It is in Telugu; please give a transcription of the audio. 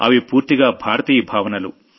అవి పూర్తిగా భారతీయ భావనలు